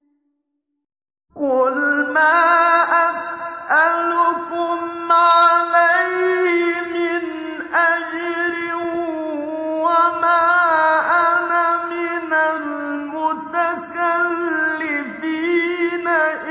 قُلْ مَا أَسْأَلُكُمْ عَلَيْهِ مِنْ أَجْرٍ وَمَا أَنَا مِنَ الْمُتَكَلِّفِينَ